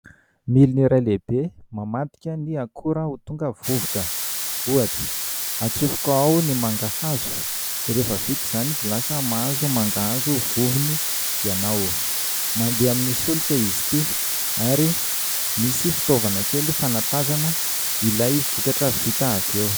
Milina iray lehibe mamadika ny akora ho tonga vovoka. Ohatra : hatsofoka ao ny mangahazo dia rehefa vita izany dia lasa mahazo mangahazo vovony ianao. Mandeha amin'ny solika izy ity ary misy fitaovana kely fanatazana ilay vokatra vita avy eo.